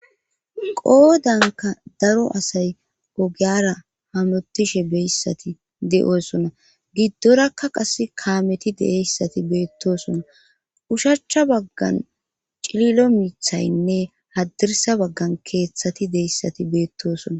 qoodanka daro asay ogeyara hamotishe beyssati de7oosona giddorakka qas kaameti deeyssati beettosona ushachcha baggan cililo miithaynne haddirsa baggan keeththati deeyssati beettosona